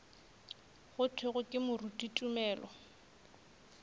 go thwego ke moruti tumelo